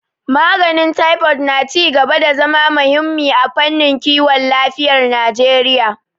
Maganin Taifod na ci gaba da zama muhimmi a fannin kiwon lafiyar Najeriya